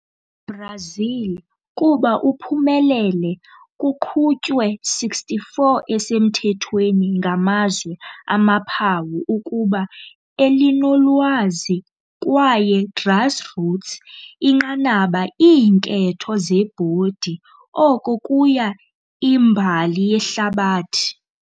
Brazil kuba uphumelele kuqhutywe 64 esemthethweni ngamazwe amaphawu ukuba elinolwazi kwaye grassroots inqanaba iinketho zebhodi, oko kuya a imbali yehlabathi.